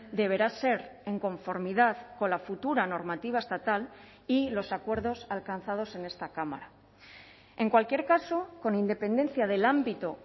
deberá ser en conformidad con la futura normativa estatal y los acuerdos alcanzados en esta cámara en cualquier caso con independencia del ámbito